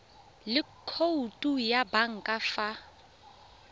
le khoutu ya banka fa